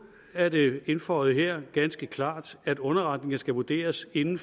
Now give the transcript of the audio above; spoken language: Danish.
er det indføjet her ganske klart at underretninger skal vurderes inden